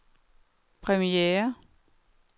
premiere